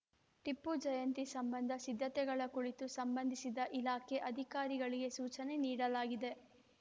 ಟಿಪ್ಪು ಜಯಂತಿ ಸಂಬಂಧ ಸಿದ್ಧತೆಗಳ ಕುಳಿತು ಸಂಬಂಧಿಸಿದ ಇಲಾಖೆ ಅಧಿಕಾರಿಗಳಿಗೆ ಸೂಚನೆ ನೀಡಲಾಗಿದೆ